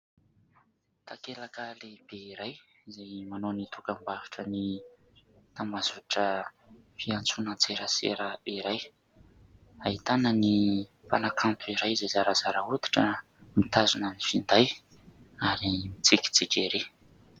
Takelaka lehibe iray izay manao ny dokam-barotra ny tambazotra fiantsoana an-tserasera iray, ahitana ny mpanakanto iray izay zarazara hoditra mitazona ny finday ary mitsikitsiky ery.